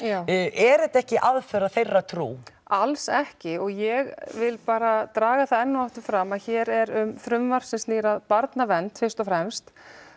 er þetta ekki aðför að þeirra trú alls ekki og ég vil bara draga það enn og aftur fram að hér er um frumvarp sem snýr að barnavernd fyrst og fremst